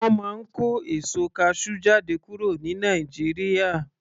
Wọn a máa kó èso kasú jáde kúrò ní Nàìjíríà